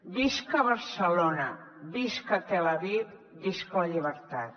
visca barcelona visca tel aviv visca la llibertat